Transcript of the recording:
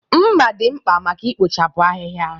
Mmà dị mkpa maka ikpochapụ ahịhịa.